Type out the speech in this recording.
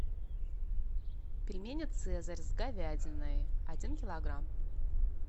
пельмени цезарь с говядиной один килограмм